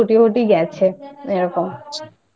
এইজন্য Office টফিস কয়েকদিন ছুটি ফুটি গেছে এরকমI